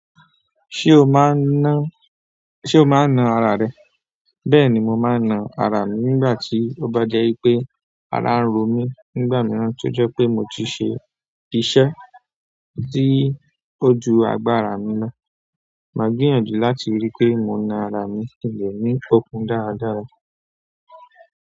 Ṣe o máa ń na ara rẹ? Bẹ́ẹ̀ ni, mo máa ń na ara mi nígbà tí ó bá jẹ́ wipé ara ń ro mí nígbà mìíràn tó jẹ́ pé mo ti ṣe ìṣe tí ó ju agbára mi lọ. Máa gbìyànjú láti rí pé mo na ara mi kin le ní okun dáradára.